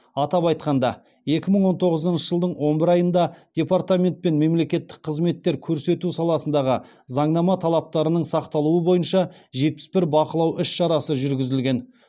атап айтқанда екі мың он тоғызыншы жылдың он бір айында департаментпен мемлекеттік қызметтер көрсету саласындағы заңнама талаптарының сақталуы бойынша жетпіс бір бақылау іс шарасы жүргізілген